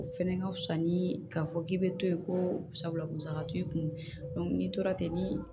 O fɛnɛ ka fisa ni k'a fɔ k'i bɛ to yen ko sabula musaka t'i kun n'i tora ten